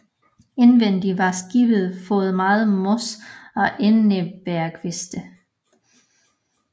Indvendig var skibet foret med mos og enebærkviste